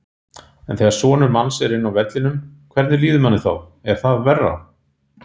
En þegar sonur manns er inni á vellinum, hvernig líður manni þá, er það verra?